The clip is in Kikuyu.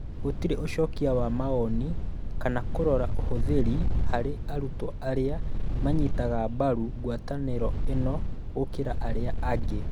Gũtirĩ ũcokia wa mawoni kana kũrora ũhũthĩri harĩ arutwo arĩa manyitaga mbaru ngwatanĩro ĩno gũkĩra arĩa angĩ.